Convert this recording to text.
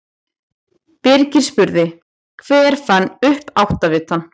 Birgir spurði: Hver fann upp áttavitann?